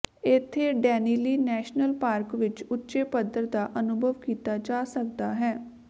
ਇੱਥੇ Denali national park ਵਿਚ ਉੱਚੇ ਪੱਧਰ ਦਾ ਅਨੁਭਵ ਕੀਤਾ ਜਾ ਸਕਦਾ ਹੈ